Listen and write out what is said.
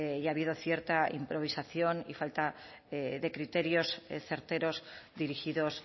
y ha habido cierta improvisación y falta de criterios certeros dirigidos